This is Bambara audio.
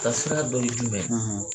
Ta sira dɔ ye jumɛn?